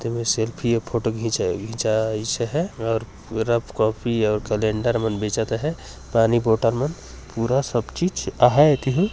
ते हुए सेल्फ़ी अऊ फोटो खिच खिचाइसे हैं और रफ कॉपी और कैलंडर बेचा थे पानी बॉटल मन पूरा सब चीज आहैं एतिही--